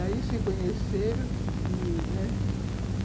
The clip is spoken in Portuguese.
Aí, se conheceram e, né?